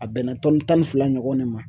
A bɛnna tɔnni tan ni fila ɲɔgɔn de ma